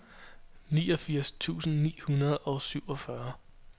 niogfirs tusind ni hundrede og syvogfyrre